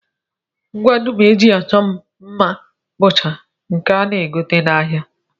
Ngwa dum e ji achọ mma mma bụcha nke a na-egote n'ahịa